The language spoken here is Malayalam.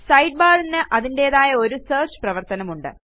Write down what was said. Sidebarന് അതിന്റേതായ ഒരു സെർച്ച് പ്രവർത്തനമുണ്ട്